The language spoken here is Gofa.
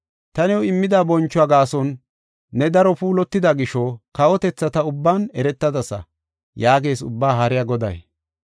Ta new immida bonchuwa gaason, ne daro puulatida gisho kawotethata ubban eretadasa” yaagees Ubbaa Haariya Goday.